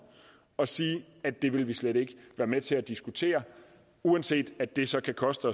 at sige at det vil vil slet ikke være med til at diskutere uanset at det så kan koste